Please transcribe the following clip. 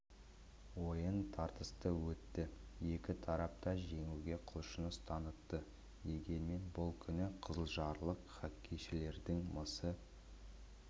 ойын тартысты өтті ек тарап та жеңуге құлшыныс танытты дегенмен бұл күні қызылжарлық хоккейшілердің мысы